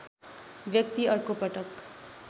व्यक्ति अर्को पटक